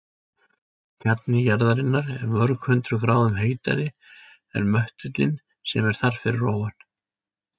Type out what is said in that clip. Kjarni jarðarinnar er mörg hundruð gráðum heitari en möttullinn sem er þar fyrir ofan.